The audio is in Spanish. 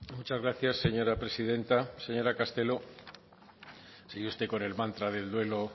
muchas gracias señora presidenta señora castelo sigue usted con el mantra del duelo